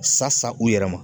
Sa sa u yɛrɛ ma.